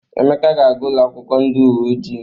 Emeka ga-aga ụlọakwụkwọ ndị uwe ojii.